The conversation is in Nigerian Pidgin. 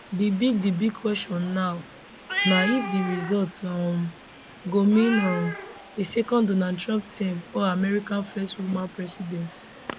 di big di big question now na if di result um go mean um a second donald trump term or america first woman president